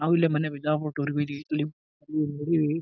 ನಾವ್ ಇಲ್ಲೇ ಮೊನ್ನೆ ಬಿಜಾಪುರ್ ಟೂರ್ ಇಗ್ ಹೋಗಿದ್ವಿ ಇಲ್ಲಿ .]